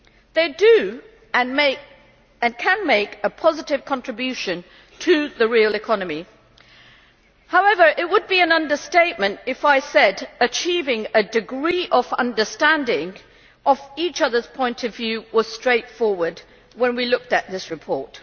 They can, and do, make a positive contribution to the real economy. However, it would be an understatement if I said that achieving a degree of understanding of each other's point of view was straightforward when we looked at this report.